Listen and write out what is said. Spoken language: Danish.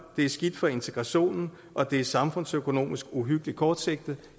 det er skidt for integrationen og det er samfundsøkonomisk uhyggelig kortsigtet